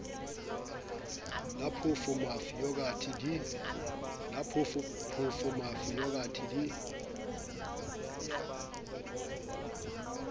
la phoofo mafi yogathe di